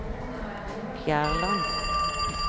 Fjærland